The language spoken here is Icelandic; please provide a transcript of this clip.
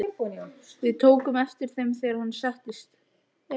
Við tókum eftir þeim, þegar hann settist.